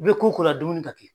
I bɛ ko o ko la dumuni ka kɛ.